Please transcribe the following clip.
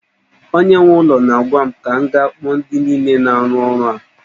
Onye nwe ụlọ na-agwa m ka m ga kpọọ ndi niile na-aru ọrụ a